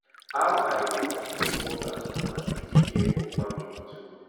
how i go fit dey work as woman dey take care of family too